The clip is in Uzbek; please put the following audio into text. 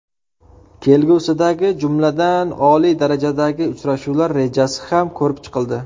Kelgusidagi, jumladan, oliy darajadagi uchrashuvlar rejasi ham ko‘rib chiqildi.